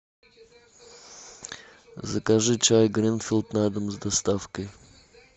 закажи чай гринфилд на дом с доставкой